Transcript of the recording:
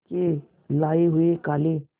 के लाए हुए काले